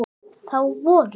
Þá voru